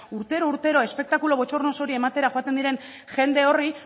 urtero urtero espektakulu botxornoso hori ematera joaten diren jende horri